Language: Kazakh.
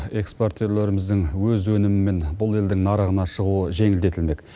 экспортерлеріміздің өз өнімімен бұл елдің нарығына шығуы жеңілдетілмек